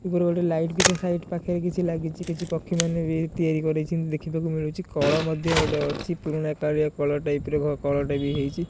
ଉପରେ ଗୋଟେ ଲାଇଟ୍ ଭି ତା ସା୍ଇଡ ପାଖରେ କିଛି ଲାଗିଛି କିଛି ପକ୍ଷୀମାନେ ଭି ତିଆରି କରିଛନ୍ତି ଦେଖିବାକୁ ମିଳୁଛି କଳ ମଧ୍ୟ ଗୋଟେ ଅଛି ପୁରୁଣା କାଲିଆ କଳ୍ ଟାଇପ ର କଳ୍ ଟା ଭି ହେଇଛି।